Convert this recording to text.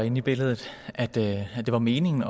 inde i billedet at det var meningen